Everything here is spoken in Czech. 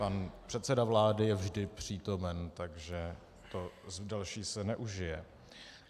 Pan předseda vlády je vždy přítomen, takže to další se neužije.